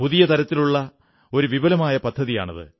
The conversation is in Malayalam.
പുതിയ തരത്തിലുള്ള ഒരു വിപുലമായ പദ്ധതിയാണ്